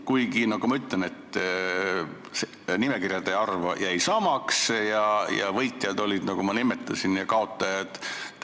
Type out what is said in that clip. Kuigi, nagu ma ütlesin, nimekirjade arv jäi samaks ning olid võitjad, nagu ma nimetasin, ja kaotajad.